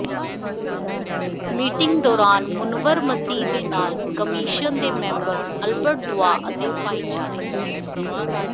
meeting ਦੌਰਾਨ ਮੁਨੱਵਰ ਮਸੀਹ ਦੇ ਨਾਲ ਕਮਿਸ਼ਨ ਦੇ ਮੈਂਬਰ ਅਲਬਰਟ ਦੂਆ ਅਤੇ ਭਾਈਚਾਰੇ